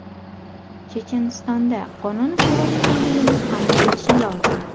Chechenistonda qonun ustuvor ekanligini hamma bilishi lozim.